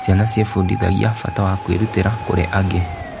Ciana ciĩbundithagia bata wa kwĩrutĩra kũrĩ angĩ.